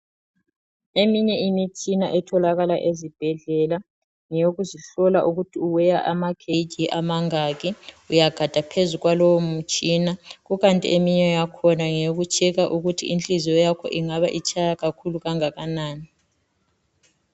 Eminye imitshina etholakala ezibhedlela ngeyokusihlola ukuthi u weigher ama kg amangaki uyagada phezu kwalowo mutshina kukanti eminye yakhona ngeyoku checker ukuthi inhliziyo yakho ingabe itshaya kakhulu kangakanani.